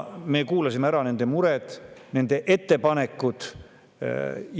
Me kuulasime ära nende mured, nende ettepanekud.